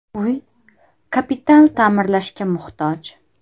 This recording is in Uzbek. Uy kapital ta’mirlashga muhtoj.